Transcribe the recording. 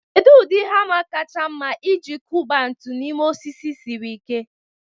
Kedu ụdị hama kacha mma iji kuba ntu n'ime osisi siri ike?